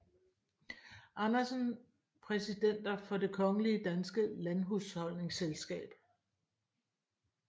Andersen Præsidenter for Det Kongelige Danske Landhusholdningsselskab